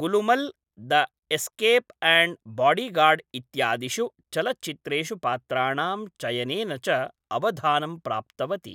Gulumal the escape and bodyguard इत्यादिषु चलच्चित्रेषु पात्राणां चयनेन च अवधानं प्राप्तवती।